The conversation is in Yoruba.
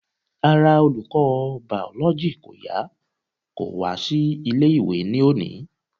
Ara olùkọ́ biology kò yá kò wá sí ilé ìwé ní òní.